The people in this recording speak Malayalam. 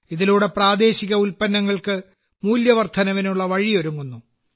ഇതിലൂടെ പ്രാദേശിക ഉൽപ്പന്നങ്ങൾക്ക് മൂല്യവർദ്ധനവിനുള്ള വഴിയൊരുങ്ങുന്നു